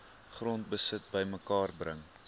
grondbesit bymekaar bring